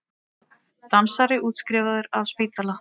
Dansari útskrifaður af spítala